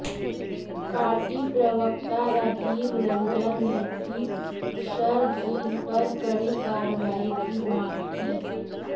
party प्रवक्ता राजीव रंजन ने भी शरजील पर कड़ी कार्रवाई की मांग की